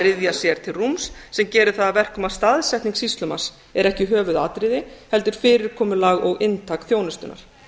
ryðja sér til rúms sem gerir það að verkum að staðsetning sýslumanns er ekki höfuðatriði heldur fyrirkomulag og inntak þjónustunnar